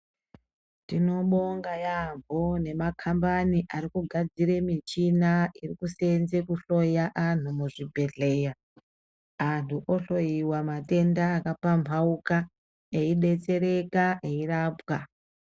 Tinobonga yaamho nemakhambani ari kugadzire michina yekuseenze kuhloya anhu muzvibhedhleya. Anhu ohloiwa matenda akapamphauka, teidetsereka eirapwa.